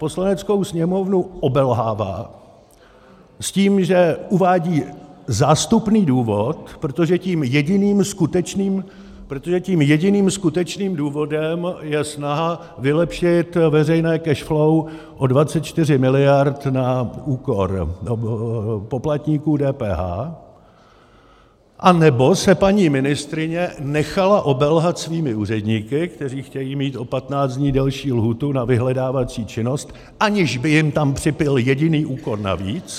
Poslaneckou sněmovnu obelhává s tím, že uvádí zástupný důvod, protože tím jediným skutečným důvodem je snaha vylepšit veřejné cash flow o 24 miliard na úkor poplatníků DPH, anebo se paní ministryně nechala obelhat svými úředníky, kteří chtějí mít o 15 dní delší lhůtu na vyhledávací činnost, aniž by jim tam přibyl jediný úkon navíc.